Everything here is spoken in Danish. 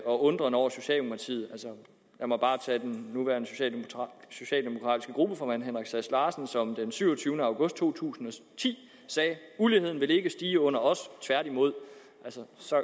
og undren over socialdemokratiet lad mig bare tage den nuværende socialdemokratiske gruppeformand herre henrik sass larsen som den syvogtyvende august to tusind og ti sagde uligheden vil ikke stige under os tværtimod altså så